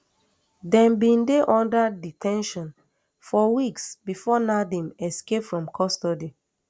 dem bin dey under de ten tion for weeks before nadeem escape from custody